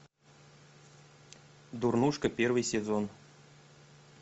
дурнушка первый сезон